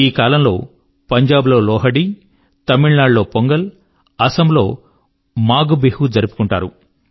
ఈ కాలం లో పంజాబ్ లో లోహడీ తమిళనాడు లో పొంగల్ అసమ్ లో మాఘ్బిహూ జరుపుకుంటారు